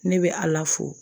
Ne bɛ ala fo